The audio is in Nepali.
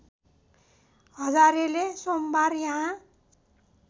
हजारेले सोमबार यहाँ